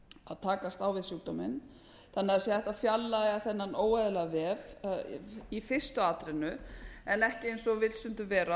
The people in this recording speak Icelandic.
að takast á við sjúkdóminn þannig að hægt sé að fjarlægja þennan óeðlilega vef í fyrstu atrennu en ekki eins og vill stundum vera